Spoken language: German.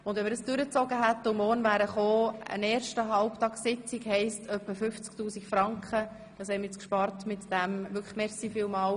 Wenn wir diese durchgezogen hätten und morgen gekommen wären, hätte das eine zusätzliche Halbtagessitzungbedeutet und etwa 50 000 Franken Kosten verursacht.